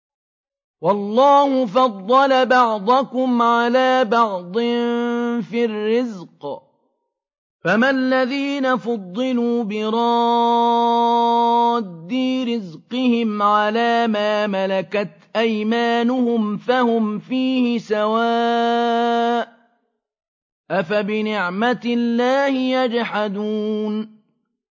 وَاللَّهُ فَضَّلَ بَعْضَكُمْ عَلَىٰ بَعْضٍ فِي الرِّزْقِ ۚ فَمَا الَّذِينَ فُضِّلُوا بِرَادِّي رِزْقِهِمْ عَلَىٰ مَا مَلَكَتْ أَيْمَانُهُمْ فَهُمْ فِيهِ سَوَاءٌ ۚ أَفَبِنِعْمَةِ اللَّهِ يَجْحَدُونَ